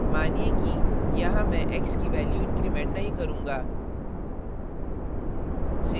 मानिए कि यहाँ मैं x की value increment नहीं करूँगा